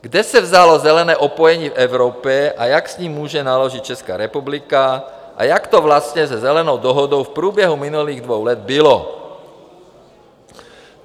Kde se vzalo zelené opojení v Evropě a jak s ním může naložit Česká republika a jak to vlastně se Zelenou dohodou v průběhu minulých dvou let bylo?